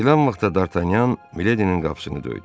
Deyilən vaxtda Dartanyan Miledinin qapısını döydü.